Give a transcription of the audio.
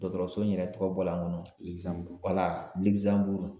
Dɔgɔtɔrɔso in yɛrɛ tɔgɔ bɔra n kɔnɔ